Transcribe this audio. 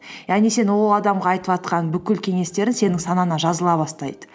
яғни сен ол адамға айтыватқан бүкіл кеңестерің сенің санаңа жазыла бастайды